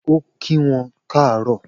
O kí wọn kaaro